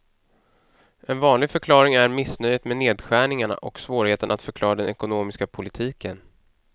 En vanlig förklaring är missnöjet med nedskärningarna och svårigheten att förklara den ekonomiska politiken.